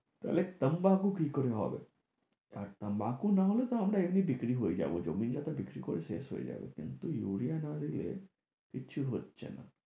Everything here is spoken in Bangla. তাহলে কি করে হবে আর না হলে তো আমরা এমনি বিক্রি হয়ে যাবো জমি জায়গা বিক্রি করে শেষ হয়ে যাবে কিন্তু ইউরিয়া না দিলে কিছু হচ্ছে না